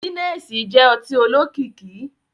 Gínẹ̀ẹ̀sí jẹ́ ọtí olókìkí